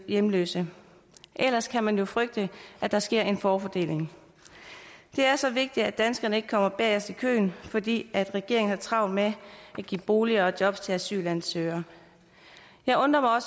hjemløse ellers kan man jo frygte at der sker en forfordeling det er så vigtigt at danskerne ikke kommer bagest i køen fordi regeringen har travlt med at give boliger og job til asylansøgere jeg undrer mig